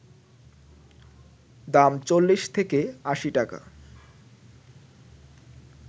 দাম ৪০ থেকে ৮০ টাকা